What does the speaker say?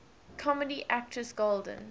comedy actress golden